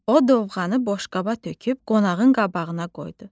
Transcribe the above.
O dovğanı boşqaba töküb qonağın qabağına qoydu.